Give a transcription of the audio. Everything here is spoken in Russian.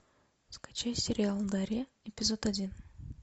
скачай сериал гарем эпизод один